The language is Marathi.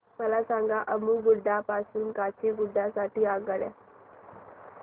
मला सांगा अम्मुगुडा पासून काचीगुडा साठी आगगाडी